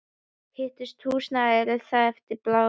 Hitun húsnæðis er þar efst á blaði.